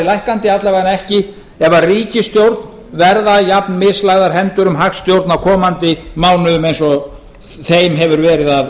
lækkandi alla vegana ekki ef ríkisstjórn verða jafnmislagðar hendur um hagstjórn á komandi mánuðum eins og þeim hefur verið að